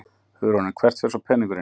Hugrún: En hvert fer svo peningurinn?